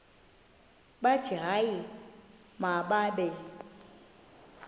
bathi hayi mababe